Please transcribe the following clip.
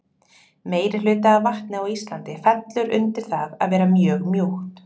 meirihluti af vatni á íslandi fellur undir það að vera mjög mjúkt